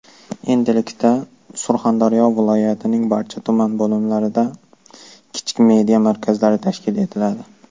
Endilikda Surxondaryo viloyatining barcha tuman bo‘limlarida kichik media markazlari tashkil etiladi.